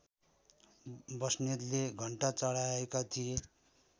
बस्नेतले घण्टा चढाएका थिए